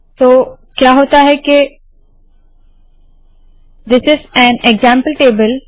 तो क्या होता है के this is an example table